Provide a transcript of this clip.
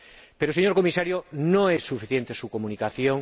Pero, señor Comisario, no es suficiente su Comunicación.